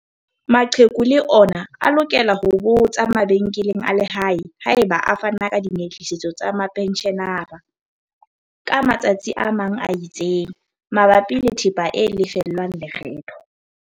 Maqheku le ona a lokela ho botsa mabenkeleng a lehae haeba a fana ka dinyehlisetso tsa mapentjhenara, ka matsa tsi a itseng, mabapi le thepa e lefellwang lekgetho.